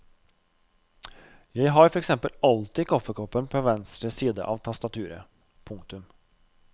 Jeg har for eksempel alltid kaffekoppen på venstre side av tastaturet. punktum